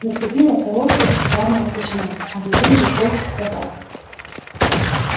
наступила короткая упрямая тишина а затем лепольд сказал